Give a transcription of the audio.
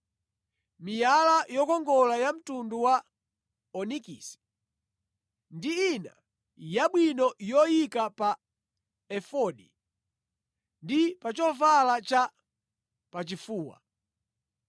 miyala yokongola ya mtundu wa onikisi ndi ina yabwino yoyika pa efodi ndi pa chovala cha pachifuwa.